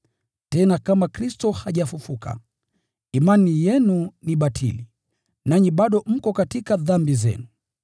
Tena kama Kristo hajafufuliwa, imani yenu ni batili; nanyi bado mko katika dhambi zenu.